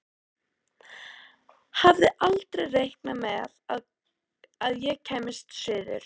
Hafði aldrei reiknað með að ég kæmi suður.